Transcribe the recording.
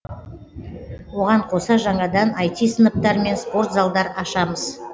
оған қоса жаңадан ай ти сыныптар мен спорт залдар ашамыз